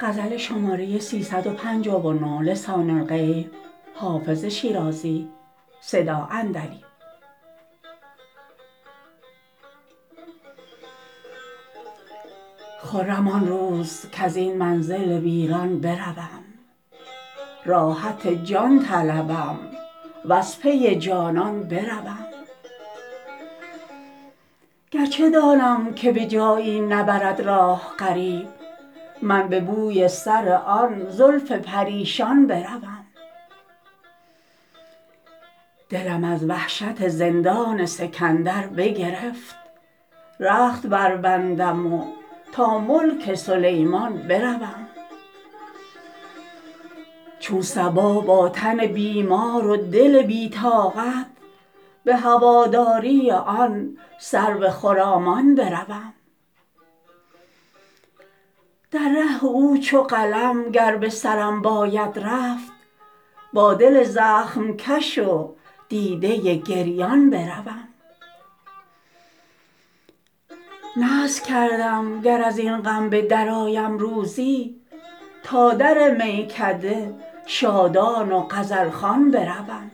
خرم آن روز کز این منزل ویران بروم راحت جان طلبم و از پی جانان بروم گر چه دانم که به جایی نبرد راه غریب من به بوی سر آن زلف پریشان بروم دلم از وحشت زندان سکندر بگرفت رخت بربندم و تا ملک سلیمان بروم چون صبا با تن بیمار و دل بی طاقت به هواداری آن سرو خرامان بروم در ره او چو قلم گر به سرم باید رفت با دل زخم کش و دیده گریان بروم نذر کردم گر از این غم به درآیم روزی تا در میکده شادان و غزل خوان بروم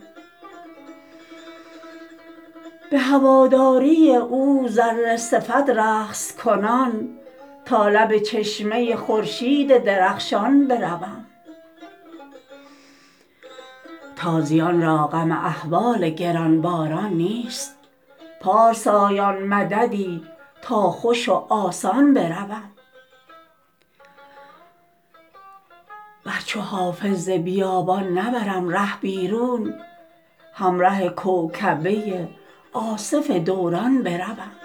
به هواداری او ذره صفت رقص کنان تا لب چشمه خورشید درخشان بروم تازیان را غم احوال گران باران نیست پارسایان مددی تا خوش و آسان بروم ور چو حافظ ز بیابان نبرم ره بیرون همره کوکبه آصف دوران بروم